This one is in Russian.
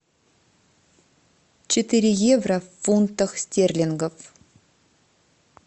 четыре евро в фунтах стерлингов